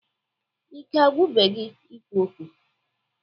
Ike agwụbe gi ikwu okwu?